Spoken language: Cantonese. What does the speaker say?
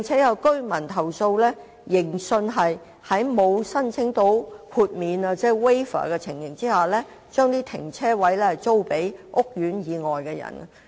有居民亦投訴指盈信在沒有申請豁免的情況下，將車位租予屋苑以外的人。